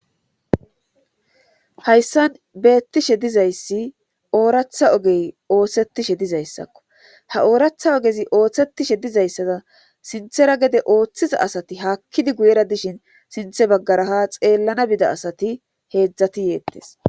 hayssan beettishe dizayssi ooratha ogey ootsetishe dizayssakko ha ooratha ogezi ooththetishe dizayssada sinthera gede ooththiza asati hakkidi guyera dishin sinthe baggara ha xeellana bida asati heedzdzati yeettes